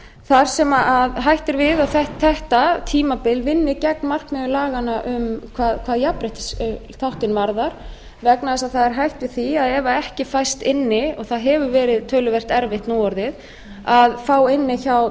þar sem hætt er við að þetta tímabil vinni gegn markmiðum laganna hvað jafnréttisþáttinn varðar vegna þess að það er hætt við því að ef ekki fæst inni og það hefur verið töluvert erfitt nú orðið að fá inni hjá